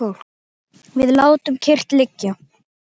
Við látum kyrrt liggja